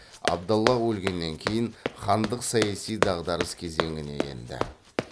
абдаллах өлгеннен кейін хандық саяси дағдарыс кезеңіне енді